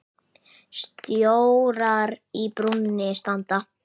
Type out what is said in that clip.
Stjórar í brúnni standa.